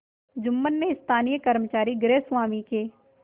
जुम्मन ने स्थानीय कर्मचारीगृहस्वामीके